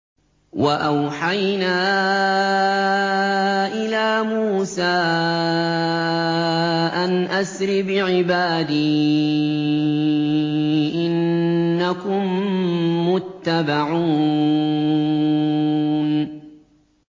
۞ وَأَوْحَيْنَا إِلَىٰ مُوسَىٰ أَنْ أَسْرِ بِعِبَادِي إِنَّكُم مُّتَّبَعُونَ